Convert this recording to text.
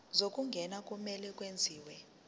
zokungena kumele kwenziwe